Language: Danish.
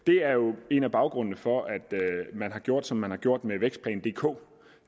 det er jo en af baggrundene for at man har gjort som man har gjort med vækstplan dk